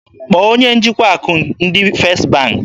Kpọọ onye njikwa akụ ndị First bank!